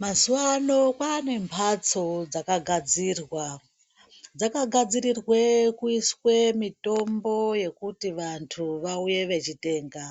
Mazuva ano kwaane mhatso dzakagadzirwa, dzakagadzirirwe kuiswe mitombo yekuti vandu vauye vechitenga